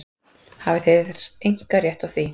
Hafið þér einkarétt á því?